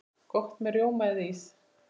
Gott með rjóma eða ís.